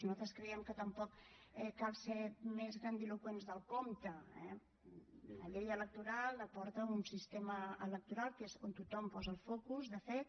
nosaltres creiem que tampoc cal ser més grandiloqüents del compte eh la llei electoral la porta un sistema electoral que és on tothom posa el focus de fet